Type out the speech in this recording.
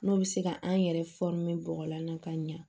N'o bɛ se ka an yɛrɛ bɔgɔlan na ka ɲa